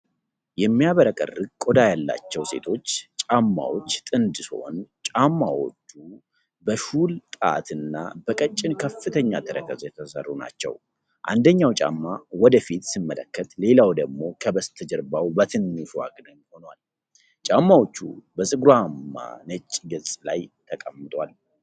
የሚያብረቀርቅ ቆዳ ያላቸው ሴቶች ጫማዎች ጥንድ ሲሆን ጫማዎቹ በሹል ጣት እና በቀጭን ከፍተኛ ተረከዝ የተሰሩ ናቸው። አንደኛው ጫማ ወደ ፊት ሲመለከት ሌላው ደግሞ ከበስተጀርባ በትንሹ አግድም ሆኗል። ጫማዎቹ በፀጉራማ ነጭ ገጽ ላይ ተቀምጠዋል።